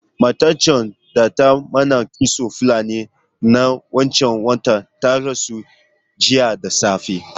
Matan can da ta mana kitson Fulani na wancan watan ta rasu jiya da safe.